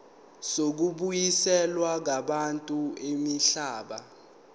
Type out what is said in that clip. zokubuyiselwa kwabantu imihlaba